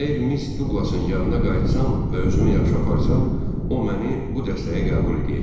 Əgər Miss Duqlasın yanına qayıtsam və özümü yaxşı aparsam, o məni bu dəstəyə qəbul eləyəcək.